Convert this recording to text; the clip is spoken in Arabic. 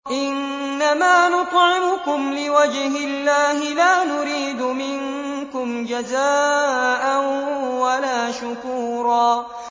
إِنَّمَا نُطْعِمُكُمْ لِوَجْهِ اللَّهِ لَا نُرِيدُ مِنكُمْ جَزَاءً وَلَا شُكُورًا